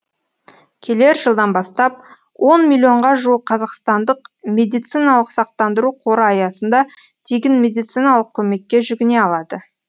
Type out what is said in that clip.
келер жылдан бастап он миллионға жуық қазақстандық медициналық сақтандыру қоры аясында тегін медициналық көмекке жүгіне алады